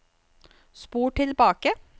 spol tilbake